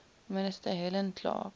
minister helen clark